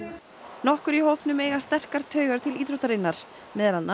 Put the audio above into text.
nokkur í hópnum eiga taugar til íþróttarinnar meðal annars